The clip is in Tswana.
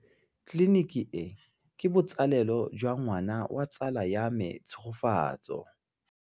Tleliniki e, ke botsalêlô jwa ngwana wa tsala ya me Tshegofatso.